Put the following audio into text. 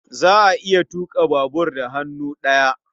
Za a iya tuƙa babur da hannu ɗaya.